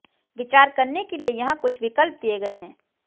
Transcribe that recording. विचार करने के लिए यहां कुछ विकल्प दिए गए हैं